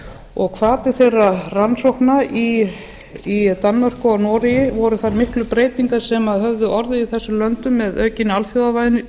og hvatir þeirra rannsókna í danmörku og noregi voru þær miklu breytingar sem höfðu orðið í þessum löndum með aukinni alþjóðavæðingu